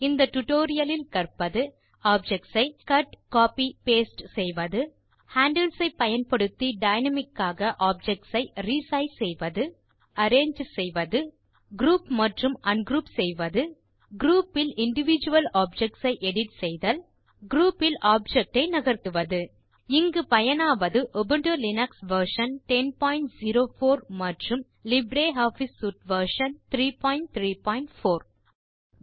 இந்த டியூட்டோரியல் லில் கற்பது ஆப்ஜெக்ட்ஸ் ஐ கட் கோப்பி பாஸ்டே செய்தல் ஹேண்டில்ஸ் ஐ பயன்படுத்தி டைனாமிக் காக ஆப்ஜெக்ட்ஸ் ஐ re சைஸ் செய்வது ஆப்ஜெக்ட்ஸ் ஐ அரேஞ்சு செய்தல் குரூப் மற்றும் அன்க்ரூப் செய்தல் குரூப் பில் இண்டிவிடுவல் ஆப்ஜெக்ட்ஸ் ஐ எடிட் செய்தல் குரூப் பில் ஆப்ஜெக்ட் ஐ நகர்த்துவது இங்கு பயனாவது உபுண்டு லினக்ஸ் வெர்ஷன் 1004 மற்றும் லிப்ரியாஃபிஸ் சூட் வெர்ஷன் 334